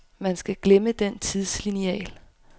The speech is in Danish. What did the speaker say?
Man skal glemme den tidslineal.